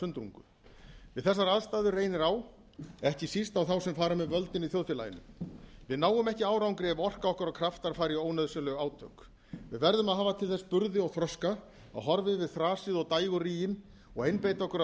sundrungu við þessar aðstæður reynir á ekki síst á þá sem fara með völdin í þjóðfélaginu við náum ekki árangri ef orka okkar og kraftar fara í ónauðsynleg átök við verðum að hafa til þess burði og þroska að horfa yfir þrasið og dægurríginn og einbeita okkur að